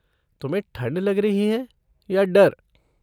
तुम्हें ठंड लग रही है या डर?